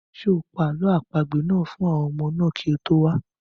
Ṣé o pa àlọ́ àpagbè náà fún àwọn ọmọ náà kí o tó wá?